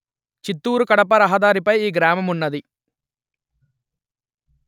చిత్తూరుకడప రహదారిపై ఈ గ్రామమున్నది